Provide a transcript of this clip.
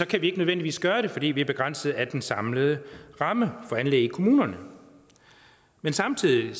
kan vi ikke nødvendigvis gøre det fordi vi er begrænsede af den samlede ramme for anlæg i kommunerne men samtidig